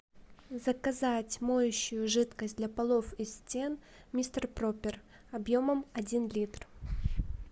заказать моющую жидкость для полов и стен мистер пропер объемом один литр